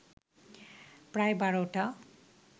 প্রায় বারোটা